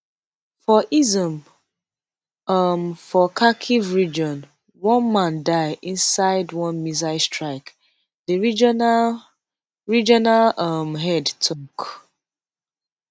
for izyum um for kharkiv region one man die inside one missile strike di regional regional um head tok